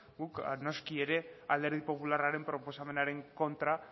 guk noski alderdi popularraren proposamenaren kontra